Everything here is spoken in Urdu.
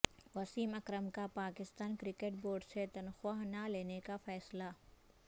وسیم اکرم کا پاکستان کرکٹ بورڈ سے تنخواہ نہ لینے کا فیصلہ